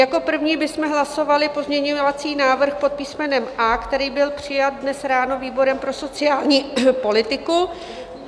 Jako první bychom hlasovali pozměňovací návrh pod písmenem A, který byl přijat dnes ráno výborem pro sociální politiku.